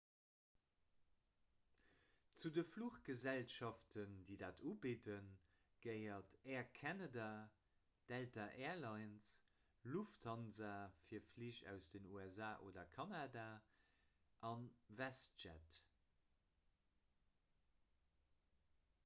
zu de fluchgesellschaften déi dat ubidden gehéieren air canada delta air lines lufthansa fir flich aus den usa oder kanada a westjet